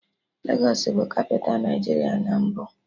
Legos bụ kapịta Nigeria na mbụ